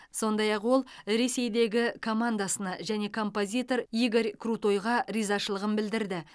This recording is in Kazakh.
сондай ақ ол ресейдегі командасына және композитор игорь крутойға ризашылығын білдірді